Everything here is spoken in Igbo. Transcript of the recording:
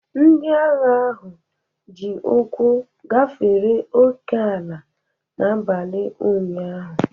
Ndị agha ahụ ji ụkwụ gafere ókè-ala n'abalị ụnyahụ